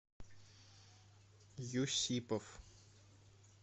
юсипов